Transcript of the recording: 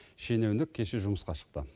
шенеунік кеше жұмысқа шықты